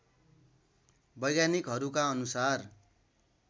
वैज्ञानिकहरूका अनुसार